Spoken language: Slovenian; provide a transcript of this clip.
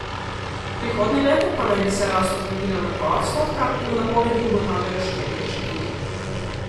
Prihodnje leto pa naj bi se rast okrepila na dva odstotka, v napovedi ugotavljajo štirje inštituti.